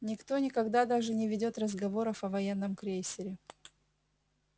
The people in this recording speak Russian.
никто никогда даже не ведёт разговоров о военном крейсере